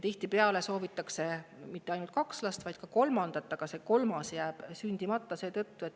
Tihtipeale ei soovita mitte ainult kahte last, vaid ka kolmandat, aga see kolmas jääb sündimata.